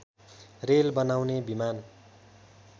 rail बनाउने विमान